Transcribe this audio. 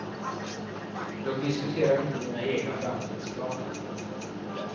Jag diskuterar inte mina egna framtidsplaner.